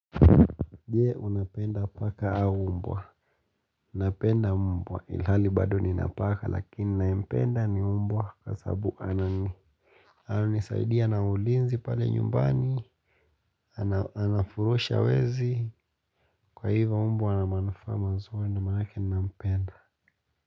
Je, unapenda paka au umbwa? Napenda mbwa ilhali bado nina paka lakini nayempenda ni mbwa kwa sabu anani ananisaidia na ulinzi pale nyumbani ana anafurusha wezi, kwa hivyo mbwa ana manufaa mazuri ndio manake nampenda.